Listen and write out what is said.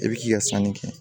I bi k'i ka sanni kɛ